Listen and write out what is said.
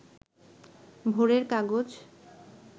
ভোরের কাগজ